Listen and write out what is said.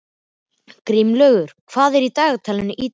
Grímlaugur, hvað er í dagatalinu í dag?